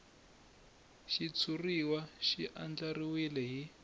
xitshuriwa xi andlariwile hi